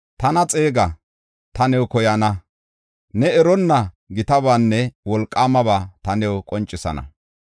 “Tana xeega; ta new koyana; ne eronna gitabaanne wolqaamaba ta new qoncisana.”